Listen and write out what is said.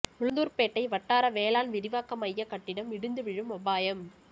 உளுந்தூர்பேட்டை வட்டார வேளாண் விரிவாக்க மைய கட்டிடம் இடிந்து விழும் அபாயம்